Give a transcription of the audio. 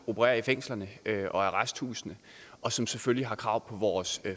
opererer i fængslerne og arresthusene og som selvfølgelig har krav på vores